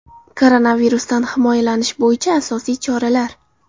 Koronavirusdan himoyalanish bo‘yicha asosiy choralar.